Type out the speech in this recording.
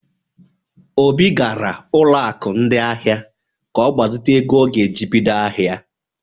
Obi gara ụlọ aku ndị ahịa ka ọgbazite ego ọ ga-eji bido ahịa.